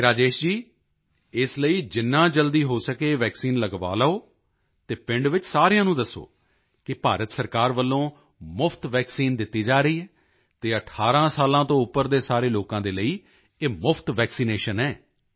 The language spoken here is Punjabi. ਅਤੇ ਰਾਜੇਸ਼ ਜੀ ਇਸ ਲਈ ਜਿੰਨਾ ਜਲਦੀ ਹੋ ਸਕੇ ਵੈਕਸੀਨ ਲਗਵਾ ਲਓ ਅਤੇ ਪਿੰਡ ਵਿੱਚ ਸਾਰਿਆਂ ਨੂੰ ਦੱਸੋ ਕਿ ਭਾਰਤ ਸਰਕਾਰ ਵੱਲੋਂ ਮੁਫ਼ਤ ਵੈਕਸੀਨ ਦਿੱਤੀ ਜਾ ਰਹੀ ਹੈ ਅਤੇ 18 ਸਾਲਾਂ ਤੋਂ ਉੱਪਰ ਦੇ ਸਾਰੇ ਲੋਕਾਂ ਦੇ ਲਈ ਇਹ ਮੁਫ਼ਤ ਵੈਕਸੀਨੇਸ਼ਨ ਹੈ